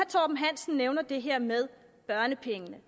torben hansen nævner det her med børnepengene